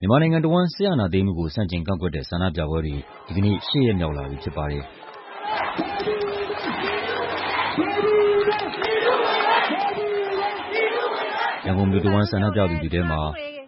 မြန်မာနိုင်ငံတဝန်း စစ်အာဏာသိမ်းမှုကို ဆန့်ကျင်ကန့်ကွက်တဲ့ ဆန္ဒပြပွဲတွေ ဒီကနေ့ ၈ ရက်မြောက်လာပြီ ဖြစ်ပါတယ်။ ရန်ကုန်မြို့တဝန်း ဆန္ဒပြသူတွေထဲမှာ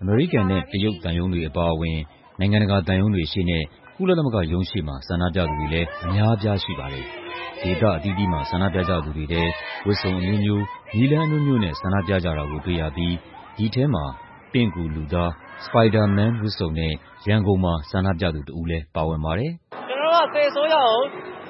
အမေရိကန်နဲ့ တရုတ်သံရုံးတွေ အပါအဝင် နိုင်ငံတကာ သံရုံးတွေရှေ့နဲ့ ကုလသမဂ္ဂရုံးရှေ့မှာ ဆန္ဒပြသူတွေလည်း အများအပြား ရှိပါတယ်။ ဒေသအသီးသီးမှာ ဆန္ဒပြကြသူတွေထဲ ဝတ်စုံအမျိုးမျိုး၊ နည်းလမ်းအမျိုးမျိုးနဲ့ ဆန္ဒပြကြတာကို တွေ့ရပြီး ဒီထဲမှာ ပင့်ကူလူသား Spiderman ဝတ်စုံနဲ့ ရန်ကုန်မှာ ဆန္ဒပြသူတဦးလည်း ပါဝင်ပါတယ်။ “ကျနော်တို့က စစ်အစိုးရကို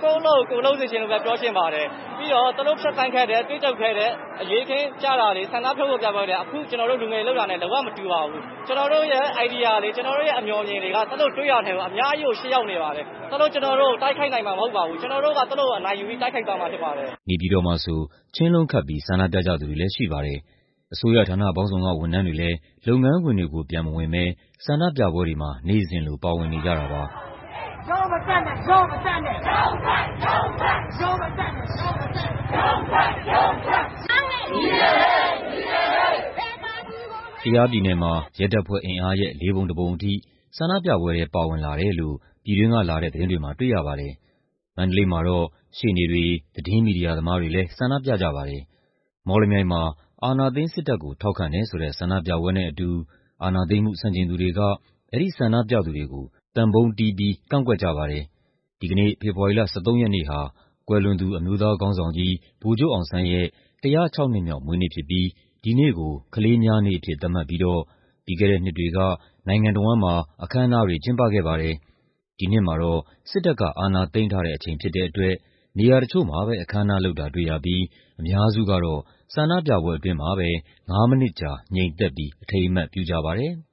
ကိုယ့်အလုပ် ကိုယ်လုပ်စေချင်တယ်လို့ပဲ ပြောချင်ပါတယ်။ ပြီးတော့ သူတို့ဖြတ်သန်းခဲ့တဲ့ တွေ့ကြုံခဲ့တဲ့ အရေးအခင်းတွေ၊ ဆန္ဒထုတ်ဖော်ပြမှုတွေက အခု ကျနော်တို့ လူငယ်တွေလုပ်တာနဲ့ လုံးဝမတူပါဘူး။ ကျနော်တို့ရဲ့ အိုင်ဒီယာတွေ ကျနော်တို့ရဲ့ အမြော်အမြင်တွေက သူတို့တွေးတာထက်ကို အများကြီး ရှေ့ရောက်နေပါတယ်။ သူတို့ ကျနော်တို့ကို တိုက်ခိုက်နိုင်မှာ မဟုတ်ပါဘူး။ ကျနော်တို့က သူတို့ကို အနိုင်ယူပြီး တိုက်ခိုက်သွားမှာ ဖြစ်ပါတယ်။” အစိုးရဌာနပေါင်းစုံက ဝန်ထမ်းတွေလည်း လုပ်ငန်းခွင်တွေကို ပြန်မဝင်ဘဲ ဆန္ဒပြပွဲတွေမှာ နေ့စဉ်လို ပါဝင်နေကြတာပါ။ နေပြည်တော်မှာ ခြင်းလုံးခတ်ပြီး ဆန္ဒပြကြသူတွေလည်း ရှိပါတယ်။ ကယားပြည်နယ်မှာ ရဲတပ်ဖွဲ့အင်အားရဲ့ ၄ ပုံ ၁ ပုံထိ ဆန္ဒပြပွဲထဲ ပါဝင်လာတယ်လို့ ပြည်တွင်းကလာတဲ့ သတင်းတွေမှာ တွေ့ရပါတယ်။ မန္တလေးမှာတော့ ရှေ့နေတွေ၊ သတင်းမီဒီယာသမားတွေလည်း ဆန္ဒပြကြပါတယ်။ မော်လမြိုင်မှာ အာဏာသိမ်းစစ်တပ်ကို ထောက်ခံတယ်ဆိုတဲ့ ဆန္ဒပြပွဲနဲ့အတူ အာဏာသိမ်းမှု ဆန့်ကျင်သူတွေက အဲဒီဆန္ဒပြသူတွေကို သံပုံးတီးပြီး ကန့်ကွက်ကြပါတယ်။ ဒီကနေ့ ဖေဖော်ဝါရီလ ၁၃ ရက်နေ့ဟာ ကွယ်လွန်သူ အမျိုးသားခေါင်းဆောင်ကြီး ဗိုလ်ချုပ်အောင်ဆန်းရဲ့ ၁၀၆ နှစ်မြောက် မွေးနေ့ဖြစ်ပြီး ဒီနေ့ကို ကလေးများနေ့အဖြစ် သတ်မှတ်ပြီးတော့ ပြီးခဲ့တဲ့နှစ်တွေက နိုင်ငံတဝန်းမှာ အခမ်းအနားတွေ ကျင်းပခဲ့ပါတယ်။ ဒီနှစ်မှာတော့ စစ်တပ်က အာဏာသိမ်းထားတဲ့အချိန် ဖြစ်တဲ့အတွက် နေရာတချို့မှာပဲ အခမ်းအနားလုပ်တာ တွေ့ရပြီး အများစုကတော့ ဆန္ဒပြပွဲအတွင်းမှာပဲ ၅ မိနစ်ကြာ ငြိမ်သက်ပြီး အထိမ်းအမှတ် ပြုကြပါတယ်။